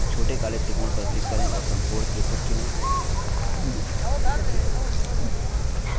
छोटे काले त्रिकोण पर click करें और समकोण त्रिभुज चुनें